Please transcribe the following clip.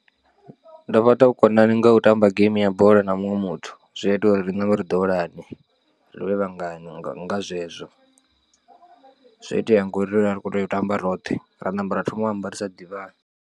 Ndo fhaṱa vhukonani ngau tamba geimi ya bola na muṅwe muthu zwi a ita uri ri nambe ri ḓowelane, rivhe vhangana nga zwezwo zwi a itea ngori ri vha ri kho tea u tamba roṱhe ra namba ra thoma u amba ri sa ḓivhani.